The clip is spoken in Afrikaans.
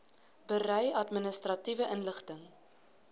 berei administratiewe inligting